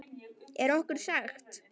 Er okkur sagt.